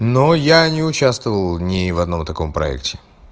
но я не участвовал ни в одном таком проекте